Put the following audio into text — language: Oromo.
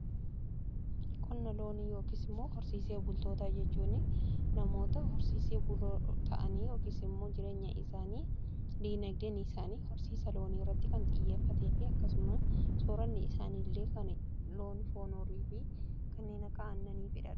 qonna loonii yookiin immoo horsiisee bultootaa jechuun namoota horsiisee buloo ta'anii yookiin mmoo jireenya isaanii diinagdee isaani horsiisa loonii irratti kan xiyyeeffatee fi akkasuma sooranni isaanillee kan loon foon horii fi kan aannan irratti hundaa'edha.